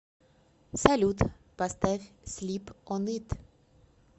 салют поставь слип он ит